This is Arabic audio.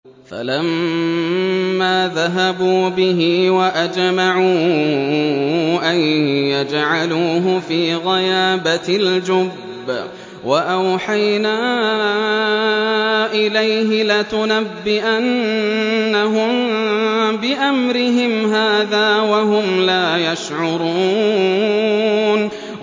فَلَمَّا ذَهَبُوا بِهِ وَأَجْمَعُوا أَن يَجْعَلُوهُ فِي غَيَابَتِ الْجُبِّ ۚ وَأَوْحَيْنَا إِلَيْهِ لَتُنَبِّئَنَّهُم بِأَمْرِهِمْ هَٰذَا وَهُمْ لَا يَشْعُرُونَ